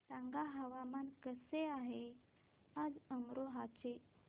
सांगा हवामान कसे आहे आज अमरोहा चे